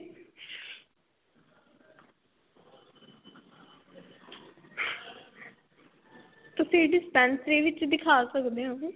ਤੁਸੀਂ dispensary ਵਿੱਚ ਦਿਖਾ ਸਕਦੇ ਓ